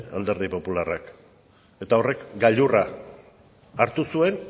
alderdi popularrak eta horrek gailurra hartu zuen